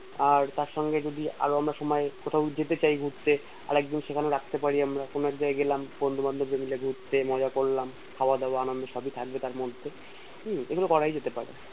আর তার সঙ্গে যদি আরো আমরা কোথাও যেতে চাই ঘুরতে আরেকদিন সেখানে রাখতে পারি আমরা কোনো জায়গা গেলাম বন্ধু বান্ধব রা মিলে ঘুরতে মজা করলাম খাওয়া দাওয়া আনন্দ সবই থাকবে তার মধ্যে হম এগুলো করাই যেতে পরে